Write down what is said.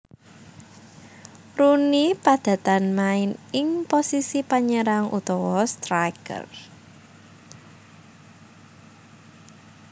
Rooney padatan main ing posisi penyerang utawa striker